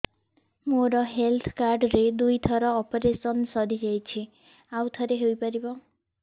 ମୋର health card ରେ ଦୁଇ ଥର ଅପେରସନ ସାରି ଯାଇଛି ଆଉ ଥର ହେଇପାରିବ